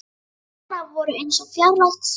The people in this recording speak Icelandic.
Orð hennar voru eins og fjarlægt suð.